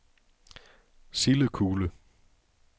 Sildekule